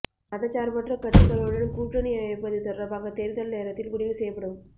மதச்சார்பற்ற கட்சிகளுடன் கூட்டணி அமைப்பது தொடர்பாக தேர்தல் நேரத்தில் முடிவு செய்யப்படும்